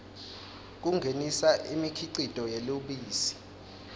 kungenisa imikhicito yelubisi